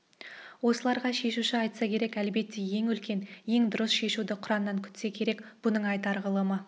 осыларға шешу айтса керек әлбетте ең үлкен ең дұрыс шешуді құраннан күтсе керек бұның айтар ғылымы